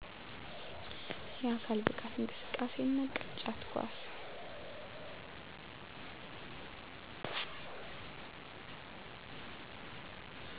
የአካል ብቃት እንቅስቃሴ እና ቅርጫት ኳስ